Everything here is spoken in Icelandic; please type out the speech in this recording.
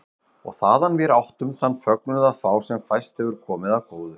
Og þaðan vér áttum þann fögnuð að fá sem fæst hefur komið af góðu.